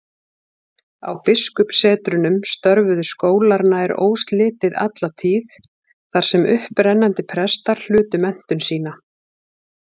Á biskupssetrunum störfuðu skólar nær óslitið alla tíð, þar sem upprennandi prestar hlutu menntun sína.